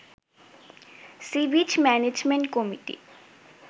sea beach management committee